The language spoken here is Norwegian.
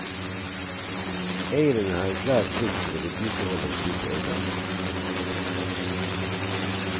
Eieren har en klar plikt til å vedlikeholde slike eiendommer.